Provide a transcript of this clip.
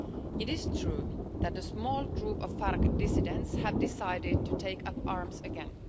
It is true that a small group of FARC dissidents have decided to take up arms again.